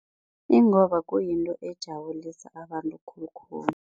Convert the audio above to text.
Ingoba kuyinto ejabulisa abantu khulukhulu.